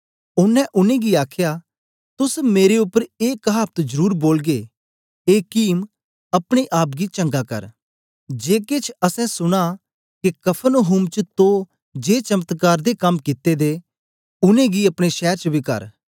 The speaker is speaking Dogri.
ओनें उनै गी आखया तुस मेरे उपर ए कहावत जरुर बोलगे ए कीम अपने आप गी चंगा कर जे केछ असैं सुना के कफरनहूम च तो जे चमत्कार दे कम कित्ते दे न उनेंगी अपने शैर च बी कर